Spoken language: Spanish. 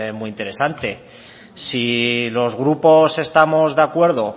muy interesante si los grupos estamos de acuerdo